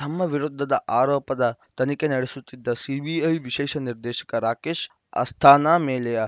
ತಮ್ಮ ವಿರುದ್ಧದ ಆರೋಪದ ತನಿಖೆ ನಡೆಸುತ್ತಿದ್ದ ಸಿಬಿಐ ವಿಶೇಷ ನಿರ್ದೇಶಕ ರಾಕೇಶ್‌ ಅಸ್ಥಾನಾ ಮೇಲೆಯೇ